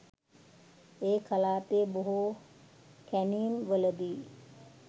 ඒ කලාපයේ බොහෝ කැණීම් වලදී